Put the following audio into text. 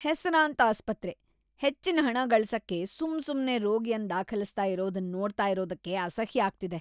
ಹೆಸರಾಂತ್ ಆಸ್ಪತ್ರೆ ಹೆಚ್ಚಿನ್ ಹಣನ್ ಗಳ್ಸಸಕ್ಕೆ ಸುಮ್ ಸುಮ್ನೆ ರೋಗಿಯನ್ ದಾಖಲಿಸ್ತಾ ಇರೋದನ್ ನೋಡ್ತಾ ಇರೋದಕ್ಕೆ ಅಸಹ್ಯ ಆಗ್ತಿದೆ.